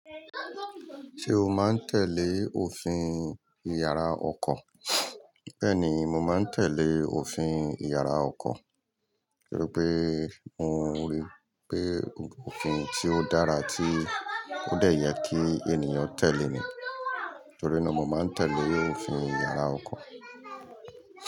Ṣé o máa ń tẹ̀lé òfin ìyàrá ọkọ̀? Bẹ́ẹ̀ni, mo máa ń tẹ̀lé òfin ìyàrá ọkọ̀, torí pé mó rí pé òfin tí ó dára tí ó dé yẹ kí ènìyàn tẹ̀lé ni. Torí náà mo máa ń tẹ̀lé òfin ìyàrá ọkọ̀.